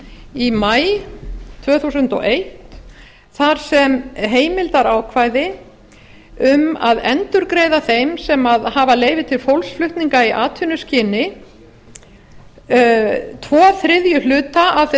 í maí tvö þúsund og eitt þar sem heimildarákvæði um að endurgreiða þeim sem hafa leyfi til fólksflutninga í atvinnuskyni tveir þriðju hluta af þeim